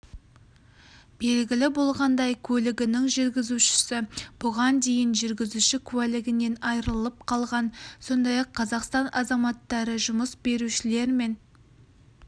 белгілі болғандай көлігінің жүргізушісі бұған дейін жүргізуші куәлігінен айырылып қалған сондай-ақ қазақстан азаматтары жұмыс берушілер мен